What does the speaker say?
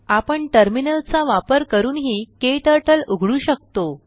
आपण टर्मिनल चा वापर करूनही क्टर्टल उघडू शकतो